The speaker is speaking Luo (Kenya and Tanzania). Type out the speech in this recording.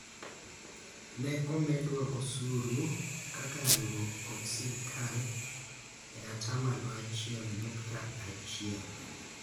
ne omendwa osuru kaka riwruok kod sirikal e atamalo achiel nyukta achiel